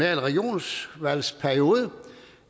regionsvalgsperiode